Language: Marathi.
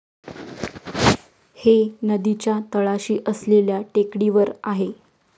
हे नदीच्या तळाशी असलेल्या टेकडीवर आहे.